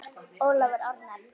Ólafur Arnar.